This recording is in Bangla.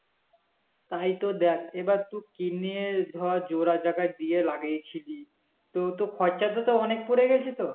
তাইতো দেখ এবার তুই কিনে ধর জোড়া জায়গায় দিয়ে লাগিয়েছিলি তোর তো খরচাটা তো অনেক পরে গেছে তো